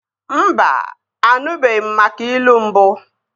Mba, anụbeghi m maka ilu mbụ